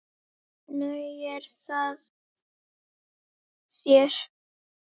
Nægir það þér?